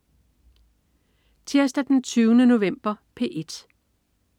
Tirsdag den 20. november - P1: